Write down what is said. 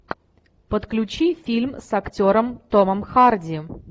подключи фильм с актером томом харди